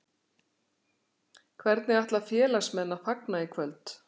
Hvernig ætla félagsmenn að fagna í kvöld?